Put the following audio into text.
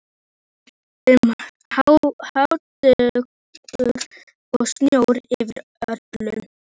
Það var um hávetur og snjór yfir öllu.